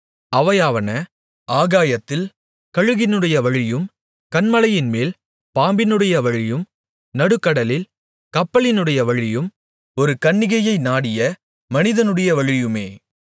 அவையாவன ஆகாயத்தில் கழுகினுடைய வழியும் கன்மலையின்மேல் பாம்பினுடைய வழியும் நடுக்கடலில் கப்பலினுடைய வழியும் ஒரு கன்னிகையை நாடிய மனிதனுடைய வழியுமே